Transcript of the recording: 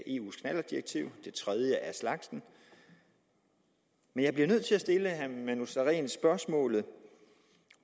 eu’s knallertdirektiv det tredje af slagsen men jeg bliver nødt til at stille herre manu sareen det spørgsmål